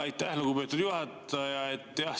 Aitäh, lugupeetud juhataja!